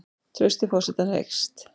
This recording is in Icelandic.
Traust til forsetans eykst